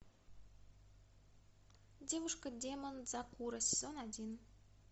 девушка демон дзакуро сезон один